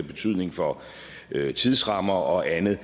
betydning for tidsrammer og andet